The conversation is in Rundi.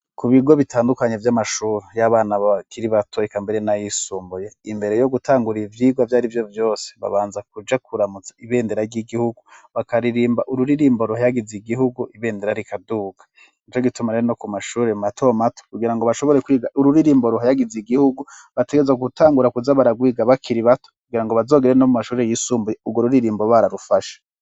Ku bigo bitandukanye vy'amashuri y'abana bakiri bato eka mbere na yisumbuye imbere yo gutangura ivyigwa vyarivyo vyose babanza kuja kuramutsa ibendera ry'igihugu bakaririmba ururirimbo ruhayagize igihugu ibendera rikaduka nico gitumare no ku mashuri matomato kugira ngo bashobore kwiga ururirimbo ruhayagize igihugu bategerezwa gutangura kuza baragwiga bakiri bato kugirango bazogere no mu mashuri y'isumbuye urwo ruririmbo bararufashe.